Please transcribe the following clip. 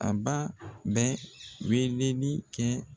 A ba bɛ weeleli kɛ.